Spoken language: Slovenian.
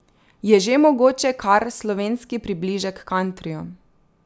Je že mogoče kar slovenski približek kantriju.